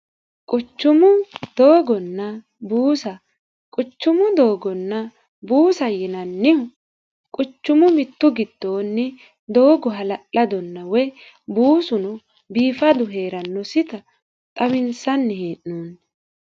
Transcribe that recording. quchumu doogonna buusa quchumu doogonna buusa yinannihu quchumu mittu giddoonni doogo hala'ladonna woy buusuno biifadu hee'rannosita xaminsanni hee'noonni